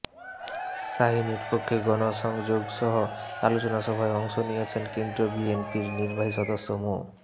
শাহীনের পক্ষে গণসংযোগসহ আলোচনা সভায় অংশ নিয়েছেন কেন্দ্রীয় বিএনপির নির্বাহী সদস্য মো